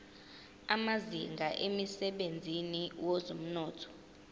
amazinga emsebenzini wezomnotho